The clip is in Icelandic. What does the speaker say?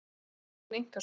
Það er mín einkaskoðun.